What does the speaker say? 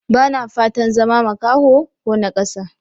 Ba na fatan zama makaho ko naƙasa.